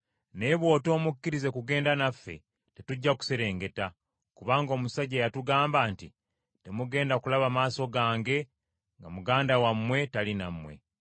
Naye bw’otomukkirize kugenda naffe, tetujja kuserengeta, kubanga omusajja yatugamba nti, ‘Temugenda kulaba maaso gange nga muganda wammwe tali nammwe.’ ”